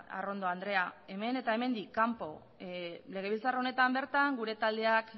arrondo andrea hemen eta hemendik kanpo legebiltzar honetan bertan gure taldeak